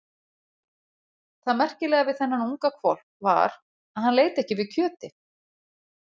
Það merkilega við þennan unga hvolp var að hann leit ekki við kjöti.